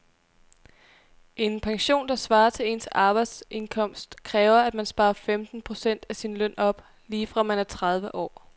En pension, der svarer til ens arbejdsindkomst, kræver at man sparer femten procent af sin løn op lige fra man er tredive år.